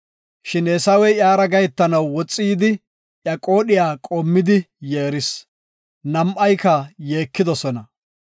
Shin Eesawey iyara gahetanaw woxi yidi iya qoodhiya qoomidi yeeris. Nam7ayka yeekidosona.